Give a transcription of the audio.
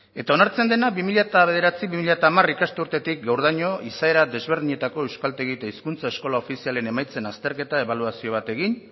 eta onartzen dena bi mila bederatzi bi mila hamar ikasturtetik gaurdaino izaera desberdinetako euskaltegi eta hizkuntza eskola ofizialen emaitzen azterketa ebaluazio bat egin